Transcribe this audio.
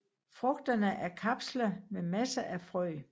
Frugterne er kapsler med masser af frø